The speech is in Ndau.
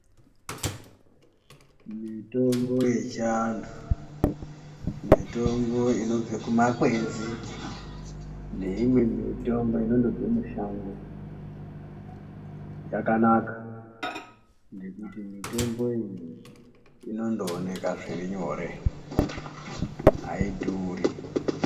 Mitombo yechiantu mitombo inobva kumakwenzi neimwe mitomo inondobve mushango yakanaka. Ngekuti mitombo iyi inondooneka zviri nyore haidhuri.